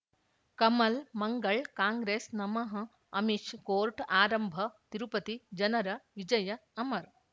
ಕಮಲ್ ಮಂಗಳ್ ಕಾಂಗ್ರೆಸ್ ನಮಃ ಅಮಿಷ್ ಕೋರ್ಟ್ ಆರಂಭ ತಿರುಪತಿ ಜನರ ವಿಜಯ ಅಮರ್